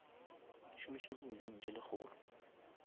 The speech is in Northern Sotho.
šomiša di million tse lekgolo